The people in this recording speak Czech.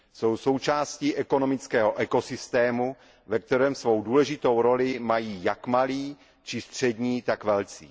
Jsou součástí ekonomického ekosystému, ve kterém svou důležitou roli mají jak malí či střední, tak velcí.